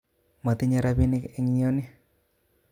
Motinye rapinik en yoni